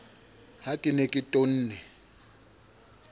ha ke ne ke tonne